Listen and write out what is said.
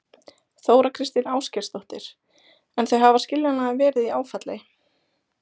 Þóra Kristín Ásgeirsdóttir: En þau hafa skiljanlega verið í áfalli?